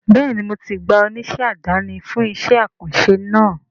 Bẹ́ẹ̀ni mo ti gba oníṣẹ́ àdáni fún iṣẹ́ àkànṣe náà